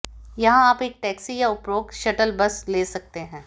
यहां आप एक टैक्सी या उपरोक्त शटल बस ले सकते हैं